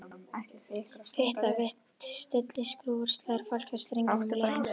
Fitlar við stilliskrúfu og slær á falska strenginn um leið.